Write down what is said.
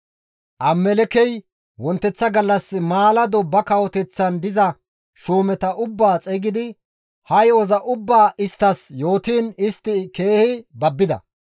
Abimelekkey wonteththa gallas maalado ba kawoteththan diza shuumeta ubbaa xeygidi ha yo7oza ubbaa isttas yootiin istti keehi babbida.